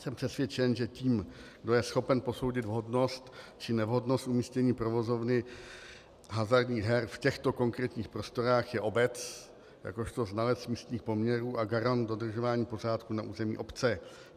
Jsem přesvědčen, že tím, kdo je schopen posoudit vhodnost či nevhodnost umístění provozovny hazardních her v těchto konkrétních prostorách, je obec jakožto znalec místních poměrů a garant dodržování pořádku na území obce.